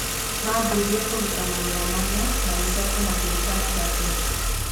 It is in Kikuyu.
Maambire kũruta magego mana, magĩcoka makĩruta matatũ.